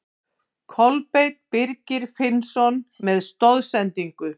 Kolbeinn Birgir Finnsson með stoðsendingu.